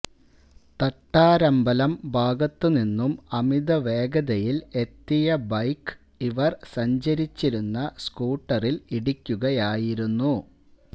തട്ടാരമ്പലം ഭാഗത്തുനിന്നും അമിതവേഗതയില് എത്തിയ ബൈക്ക് ഇവര് സഞ്ചരിച്ചിരുന്ന സ്കൂട്ടറില് ഇടിക്കുകയായിരുന്നു